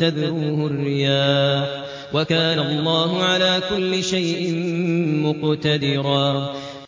تَذْرُوهُ الرِّيَاحُ ۗ وَكَانَ اللَّهُ عَلَىٰ كُلِّ شَيْءٍ مُّقْتَدِرًا